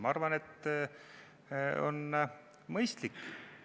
Ma arvan, et see on mõistlik.